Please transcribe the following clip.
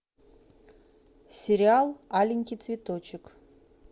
сериал аленький цветочек